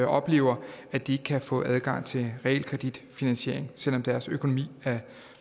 oplever at de ikke kan få adgang til realkreditfinansiering selv om deres økonomi er